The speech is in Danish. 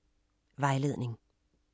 Vejledning: